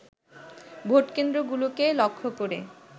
ভোটকেন্দ্রগুলোকে লক্ষ্য করে